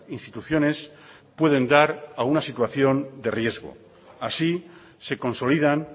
instituciones pueden dar a una situación de riesgo así se consolidan